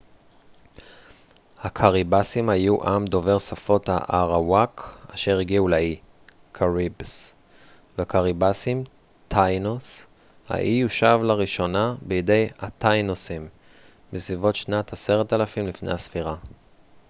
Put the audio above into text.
האי יושב לראשונה בידי הטאינוסים taínos והקאריבסים caribes. הקאריבסים היו עם דובר שפת האראוואק אשר הגיעו לאי בסביבות שנת 10,000 לפני הספירה